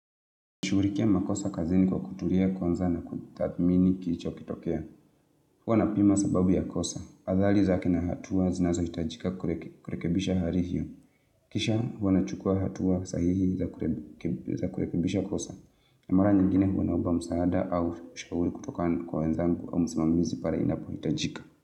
Nishughurikia makosa kazini kwa kutulia kwanza na kutathmini kilichokitokea. Huwa na pima sababu ya kosa. Athari za kina hatua zinazo hitajika kurekebisha hari hiyo. Kisha huwana chukua hatua sahihi za kurekebisha kosa. Namara nyengine huwanaomba msaada au ushauri kutoka kwa wenzangu au musimamizi pare inapo hitajika.